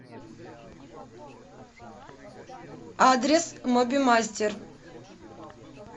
адрес мобимастер